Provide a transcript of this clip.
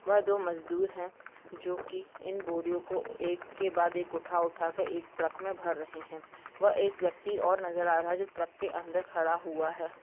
वह दो मजदूर हैं जो कि इन बोरियों को एक के बाद एक उठा-उठा के एक ट्रक में भर रहे हैं व एक व्यक्ति और नजर रहा है जो ट्रक के अंदर खड़ा हुआ है।